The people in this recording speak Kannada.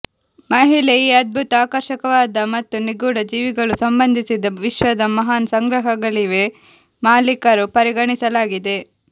ಮಹಿಳೆ ಈ ಅದ್ಭುತ ಆಕರ್ಷಕವಾದ ಮತ್ತು ನಿಗೂಢ ಜೀವಿಗಳು ಸಂಬಂಧಿಸಿದ ವಿಶ್ವದ ಮಹಾನ್ ಸಂಗ್ರಹಗಳಿವೆ ಮಾಲೀಕರು ಪರಿಗಣಿಸಲಾಗಿದೆ